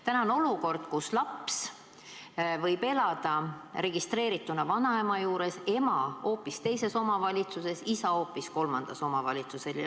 Praegu on olukord, kus laps võib elada registreerituna vanaema juures ning ema elab hoopis teises omavalitsuses ja isa hoopis kolmandas omavalitsuses.